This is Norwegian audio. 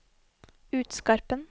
Utskarpen